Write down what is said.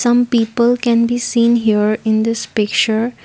some people can be seen here in this picture.